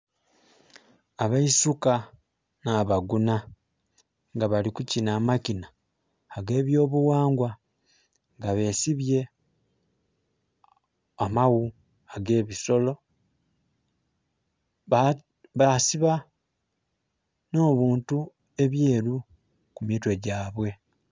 Abeisuka nha bagunha nga bali kukina amakina age byobughangwa nga besibye amaghu age bisolo basiba ne bintu ebyeru ku mitwe gya bwe.